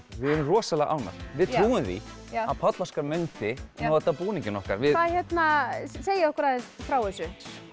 við erum rosalega ánægð við trúum því að Páll Óskar mundi nota búninginn okkar segið okkur aðeins frá þessu